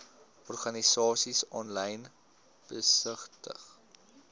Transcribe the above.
organisasies aanlyn besigtig